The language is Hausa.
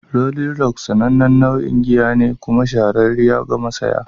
"Rolling Rock'' sanannen nau'ine na giya kuma shahararriya ga mashaya.